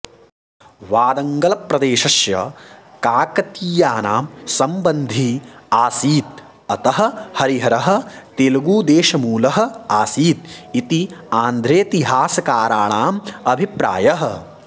वादङ्गलप्रदेशस्य काकतीयानां सम्बन्धी आसीत् अतः हरिहरः तेलगुदेशमूलः आसीत् इति आन्ध्रेतिहासकाराणाम् अभिप्रायः